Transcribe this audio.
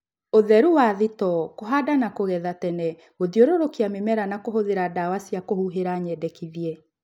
Ũtheru wa thitoo, kũhanda na kũgetha tene, gũthiũrũrũkia mĩmera na kũhũthĩla dawa cia kũhuhila nyendekithie